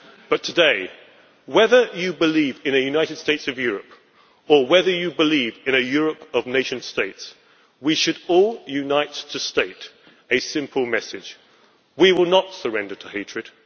But today, whether you believe in a United States of Europe or whether you believe in a Europe of nation states, we should all unite to state a simple message we will not surrender to hatred.